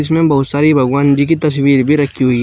में बहुत सारी भगवान जी की तस्वीर भी रखी हुई है।